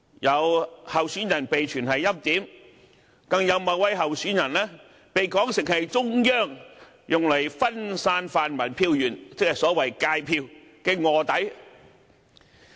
有候選人被傳是"欽點"，更有某位候選人被說成是中央用來分散泛民票源的臥底。